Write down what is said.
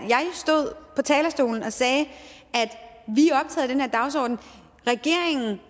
det talerstolen og sagde at af den her dagsorden regeringen